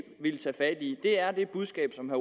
ville tage fat i er det budskab som